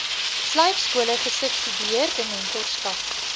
slypskole gesubsidieerde mentorskap